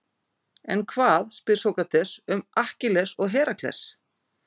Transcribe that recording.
En hvað, spyr Sókrates, um Akkilles og Herakles?